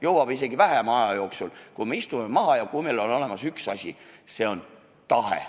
Jõuab isegi vähema aja jooksul, kui me istume maha ja kui meil on olemas üks asi: see on tahe.